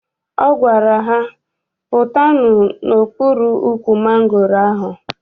Ọ gwara ha, pụtanụ n'okpuru ukwu mangoro ahụ!